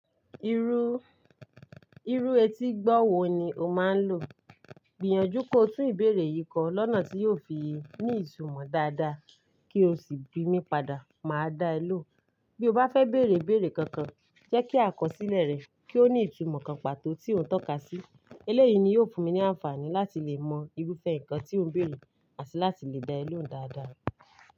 Irú, irú etígbọ̀wọ́ wo ni o máa ń lò? Gbìyànjú ko tún ìbéèrè yìí kan lọ́nà tí yóò fi ní ìtumọ̀ dáadáa kí o sì bí mi padà, màá dá ẹ lò. Bí o bá fẹ́ béèrè ìbéèrè kankan, jẹ́ kí àkọsílẹ̀ rẹ kí ó ní ìtumọ̀ kan pàtó tí òun tọ́ka sí. Eléyìí ni yóò fún mi ní àǹfààní láti lè mọ irúfẹ́ nǹkan tí o ń béèrè àti láti lè gba ẹ́ lò dáadáa.